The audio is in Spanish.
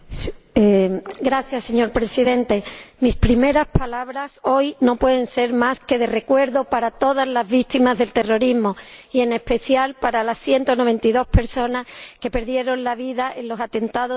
Señor Presidente, mis primeras palabras hoy no pueden ser más que de recuerdo para todas las víctimas del terrorismo y, en especial, para las 192 personas que perdieron la vida en los atentados de los trenes de Madrid.